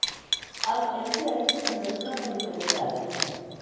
अब एमसीआई की संरचना पर एक नजर डालते हैं